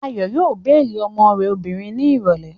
Ayọ̀ yóò béèlì ọmọ rẹ̀ obìnrin ní ìrọ̀lẹ́